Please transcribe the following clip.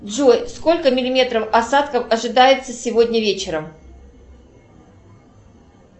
джой сколько миллиметров осадков ожидается сегодня вечером